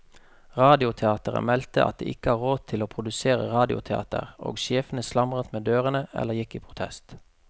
Radioteateret meldte at de ikke hadde råd til å produsere radioteater, og sjefene slamret med dørene eller gikk i protest.